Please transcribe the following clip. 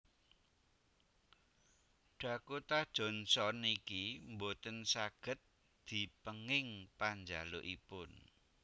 Dakota Johnson niki mboten saget dipenging panjalukipun